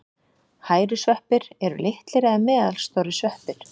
Hærusveppir eru litlir eða meðalstórir sveppir.